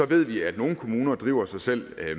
ved vi at nogle kommuner driver sig selv